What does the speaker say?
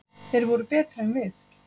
Þeir voru betri en við.